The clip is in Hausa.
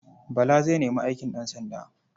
Bala zai nemi aikin ɗansanda.